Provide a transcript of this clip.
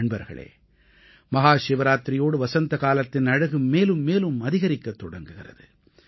நண்பர்களே மஹாசிவராத்திரியோடு வசந்தகாலத்தின் அழகு மேலும் மேலும் அதிகரிக்கத் தொடங்குகிறது